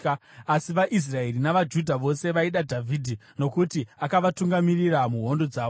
Asi vaIsraeri navaJudha vose vaida Dhavhidhi, nokuti akavatungamirira muhondo dzavo.